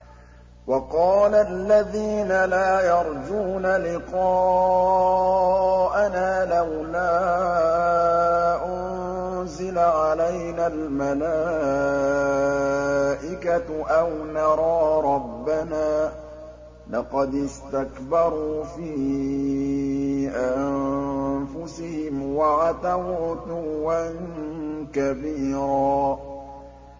۞ وَقَالَ الَّذِينَ لَا يَرْجُونَ لِقَاءَنَا لَوْلَا أُنزِلَ عَلَيْنَا الْمَلَائِكَةُ أَوْ نَرَىٰ رَبَّنَا ۗ لَقَدِ اسْتَكْبَرُوا فِي أَنفُسِهِمْ وَعَتَوْا عُتُوًّا كَبِيرًا